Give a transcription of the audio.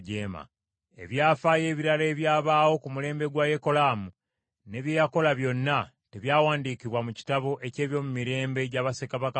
Ebyafaayo ebirala ebyabaawo ku mulembe gwa Yekolaamu, ne bye yakola byonna, tebyawandiikibwa mu kitabo eky’ebyomumirembe gya bassekabaka ba Yuda?